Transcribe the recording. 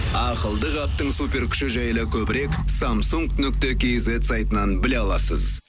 ақылды қаптың суперкүші жайлы көбірек самсунг нүкте кизет сайтынан біле аласыз